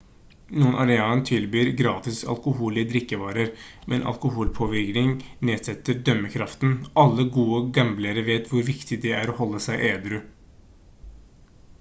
noen arenaer tilbyr gratis alkoholholdige drikkevarer men alkoholpåvirkning nedsetter dømmekraften alle gode gamblere vet hvor viktig det er å holde seg edru